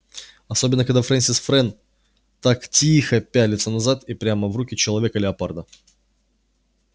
особенно когда фрэнсис фрэн так ти-и-ихо пятился назад и прямо в руки человека-леопарда